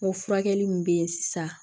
N ko furakɛli min be yen sisan